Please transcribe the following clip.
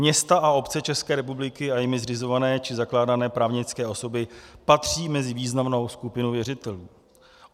Města a obce České republiky a jimi zřizované či zakládané právnické osoby patří mezi významnou skupinu věřitelů.